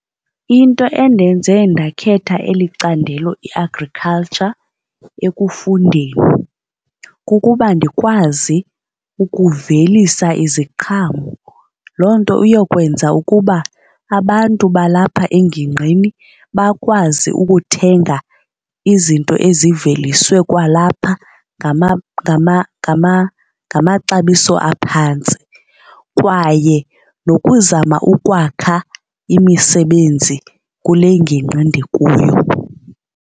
Into endenze ndakhetha eli candelo i-agriculture ekufundeni kukuba ndikwazi ukuvelisa iziqhamo. Loo nto iyokwenza ukuba abantu balapha engingqini bakwazi ukuthenga izinto eziveliswe kwalapha ngamaxabiso aphantsi kwaye nokuzama ukwakha imisebenzi kule ngingqi endikuyo.